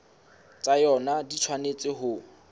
tsa yona di tshwanetse ho